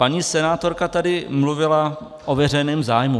Paní senátorka tady mluvilo o veřejném zájmu.